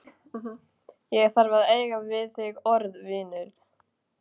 Ég þarf að eiga við þig orð, vinur.